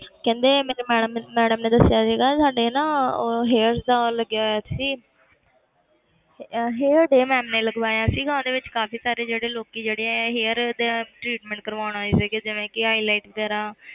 ਕਹਿੰਦੇ ਮੈਨੂੰ madam ਨੇ madam ਨੇ ਦੱਸਿਆ ਸੀਗਾ ਸਾਡੇ ਨਾ ਉਹ hairs ਦਾ ਉਹ ਲੱਗਿਆ ਹੋਇਆ ਸੀ ਅਹ hair day ma'am ਨੇ ਲਗਵਾਇਆ ਸੀਗਾ ਉਹਦੇ ਵਿੱਚ ਕਾਫ਼ੀ ਸਾਰੇ ਜਿਹੜੇ ਲੋਕੀ ਜਿਹੜੇ ਹੈ hair ਦੇ treatment ਕਰਵਾਉਣ ਆਏ ਸੀਗੇ ਜਿਵੇਂ ਕਿ ਆ